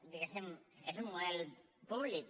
diguéssim és un model públic